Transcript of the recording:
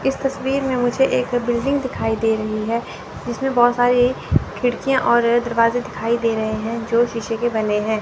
इस तस्वीर में मुझे एक बिल्डिंग दिखाई दे रही है जिसमे बहुत सारी खिड़कियाँ और दरवाजे दिखाई दे रहे हैं जो शीशे के बने है।